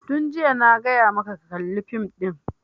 Tun jiya na gaya maka ka kalla fim ɗin!